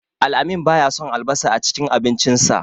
Al-amin baya son albasa a cikin abincinsa.